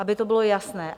Aby to bylo jasné.